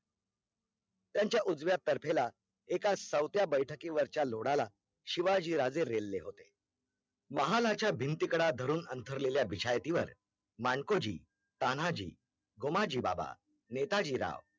शिवाजी राजे रेलले होते महालाच्या भिंती कडा धरून अंतरलेल्या, बिछायातीवर माणकोजी, तान्हाजी, गुमाजी बाबा, नेताजी राव